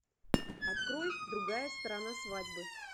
открой другая сторона свадьбы